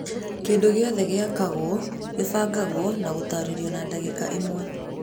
Kĩndũ gĩothe gĩĩkagwo gĩbangagwo na gũtarĩrio na dagĩka ĩmwe